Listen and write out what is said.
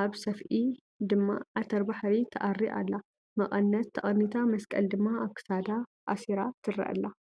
ኣብ ሰፍኢ ድማ ዓተር ባሕሪ ተኣሪ ኣላ። መቀነት ተቀኒታ መስቀል ድማ ኣብ ክሳዳ ኣሲራ ትርአ ኣላ ።